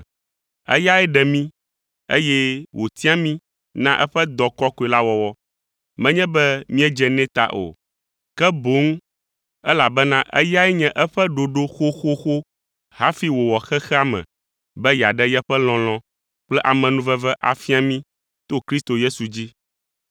Eyae ɖe mí, eye wotia mí na eƒe dɔ kɔkɔe la wɔwɔ, menye be míedze nɛ ta o, ke boŋ elabena eyae nye eƒe ɖoɖo xoxoxo hafi wòwɔ xexea me be yeaɖe yeƒe lɔlɔ̃ kple amenuveve afia mí to Kristo Yesu dzi.